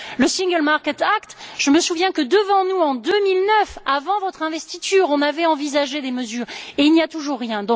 Quant au Single Market Act je me souviens que, devant nous, en 2009, avant votre investiture, on avait envisagé les mesures et il n'y a toujours rien.